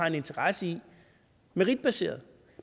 en interesse i meritbaseret